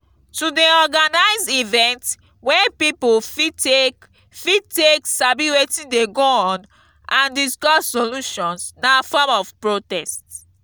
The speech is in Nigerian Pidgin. to de organise event wey pipo fit take fit take sabi wetin de go on and discuss solutions na form of protest